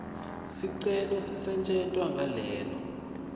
sicelo sisetjentwa ngalelo